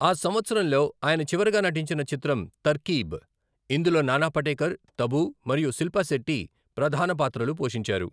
ఆ సంవత్సరంలో ఆయన చివరగా నటించిన చిత్రం 'తర్కీబ్', ఇందులో నానా పాటేకర్, తబూ మరియు శిల్పాశెట్టి ప్రధాన పాత్రలు పోషించారు.